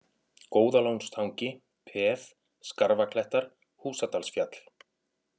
Góðalónstangi, Peð, Skarfaklettar, Húsadalsfjall